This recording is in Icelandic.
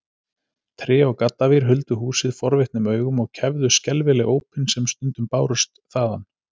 Tré og gaddavír huldu húsið forvitnum augum og kæfðu skelfileg ópin sem stundum bárust þaðan.